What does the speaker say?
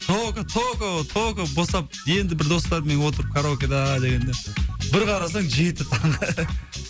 только только только босап енді бір достармен отырып караокеда дегенде бір қарасаң жеті таңғы